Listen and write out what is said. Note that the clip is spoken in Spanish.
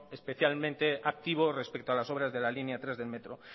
especialmente activo respecto a las obras de la línea tres del metro